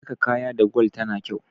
saka kaya da gwal tana kyau